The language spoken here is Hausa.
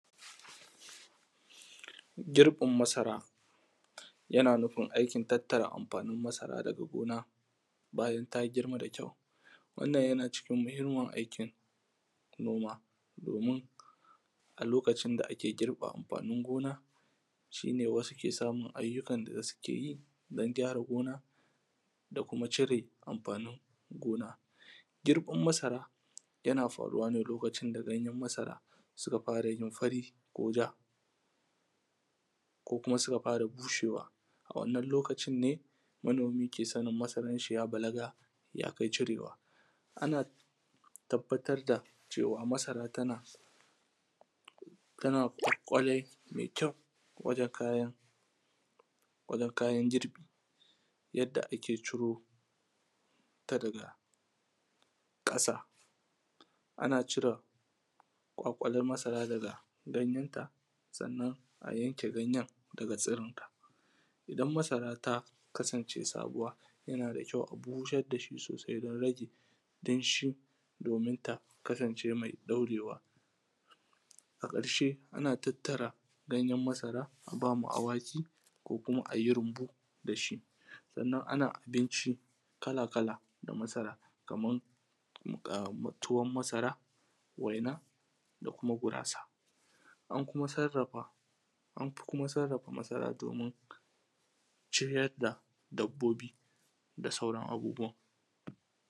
Girbin masara, yana nufin aikin tattara amfanin masara daga gona. Bayan ta girma da kyau, wannan yana cikin muhimmin aikin noma. Domin a lokacin da ake girba amfanin gona, shine wasu ke samun aiyukan da su keyi. Don gyara gona, dakuma cire amfanin gona. Girbann masara, yana faruwane lokacin da ganyen marasara, suka fara yin fari ko ja ko kuma suka fara bushewa. A wannan lokacin ne, manomi ke sanin masaranshi ya balaga yakai cirewa. Ana tabbatarda cewa masara tana tana kware mai kyau waje kayan wajen kayan girbi. Yanda ake ciro ta daga ƙasa ana cira kwakwale masara daga ganyenta, sannan a yanke ganyen daga tsirinta. Idan masara ta kasance sabuwa, yanada kyau a busardashi sosai don rage danshi domin ta kasance mai dorewa, A ƙarshe ana tattara ganyen masara, abama awaki ko kuma ayi runbu dashi. Sannan ana abinci kala kala da masara, kaman muƙa tuwan masara, waina da kuma gurasa. An kuma sarrafa anfi kuma sarrafa masara domin, ciryar da dabbobi da sauran abubuwan.